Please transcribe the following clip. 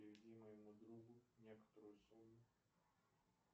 переведи моему другу некоторую сумму